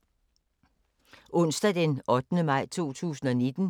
Onsdag d. 8. maj 2019